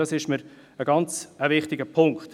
Das ist mir ein ganz wichtiger Punkt.